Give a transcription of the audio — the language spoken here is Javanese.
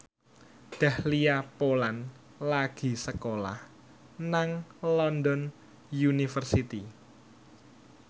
Dahlia Poland lagi sekolah nang London University